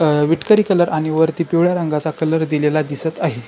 अ विठकरी कलर आणि वरती पिवळा रंगा चा कलर दिलेला दिसत आहे.